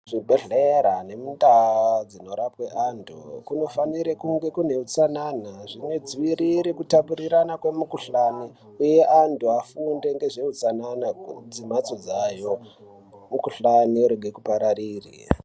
Muzvibhedhlera nekundau dzinorapwe antu kunofanire kunge kune hutsanana zvinodzivirire kutapurirana kwemukhuhlani uye antu afunde ngezveutsanana kumhatso dzavo mikhuhlani irege kupararire.